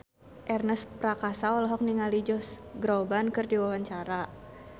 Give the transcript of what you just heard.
Ernest Prakasa olohok ningali Josh Groban keur diwawancara